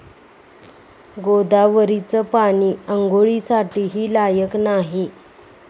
गोदावरीचं पाणी आंघोळीसाठीही लायक नाही'